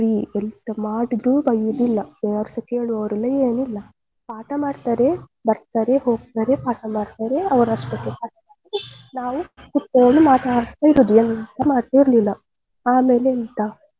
ಎಂತ ಮಾಡಿದ್ರು ಬಯ್ಯುದಿಲ್ಲ ಯಾರು ಸ ಕೇಳುವವರಿಲ್ಲ ಏನಿಲ್ಲ ಪಾಠ ಮಾಡ್ತಾರೆ ಬರ್ತಾರೆ ಹೋಗ್ತಾರೆ ಪಾಠ ಮಾಡ್ತಾರೆ ಅವ್ರಷ್ಟಕ್ಕೆ ಪಾಠ ಮಾಡಿ ನಾವು ಕುತ್ಕೊಂಡು ಮಾತಾಡ್ತಾ ಇರೋದು ಎಂತಾ ಮಾಡ್ತಿರ್ಲಿಲ್ಲ ಆಮೇಲೆ ಎಂತ.